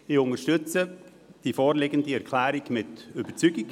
Ich unterstütze die vorliegende Erklärung mit Überzeugung.